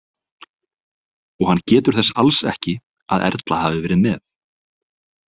Og hann getur þess alls ekki að Erla hafi verið með.